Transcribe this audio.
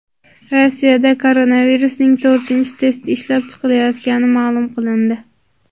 Rossiyada koronavirusning to‘rtinchi testi ishlab chiqilayotgani ma’lum qilindi.